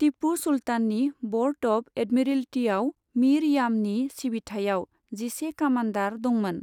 तिपु सुल्ताननि board of एडमिरल्तिआव मिर यामनि सिबिथाइयाव जिसे कामान्डार दोंमोन।